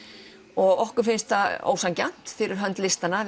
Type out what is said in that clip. og okkur finnst það ósanngjarnt fyrir hönd listanna